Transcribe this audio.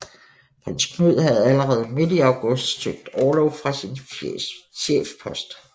Prins Knud havde allerede midt i august søgt orlov fra sin chefpost